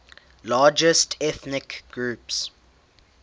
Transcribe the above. largest ethnic groups